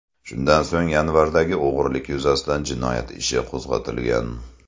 Shundan so‘ng yanvardagi o‘g‘rilik yuzasidan jinoyat ishi qo‘zg‘atilgan.